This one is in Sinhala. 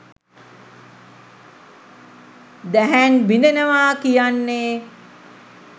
දැහැන් බිඳෙනවා කියන්නේ